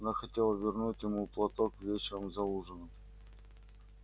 она хотела вернуть ему платок вечером за ужином